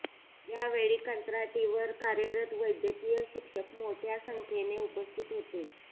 यावेळी कंत्राटीवर कार्यरत वैद्यकीय शिक्षक मोठ्या संख्येने उपस्थित होते